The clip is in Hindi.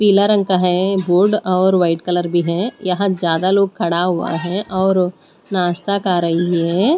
पीला रंग का है ये बोर्ड और वाइट कलर भी है यहां ज्यादा लोग खड़ा हुआ है और नाश्ता खा रही है।